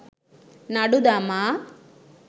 නඩු දමා